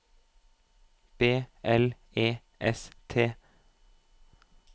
B L E S T